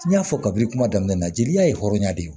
N y'a fɔ kabi kuma daminɛ jeli ye hɔrɔnya de ye